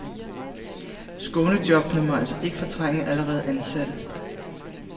Skånejobbene må altså ikke fortrænge allerede ansatte.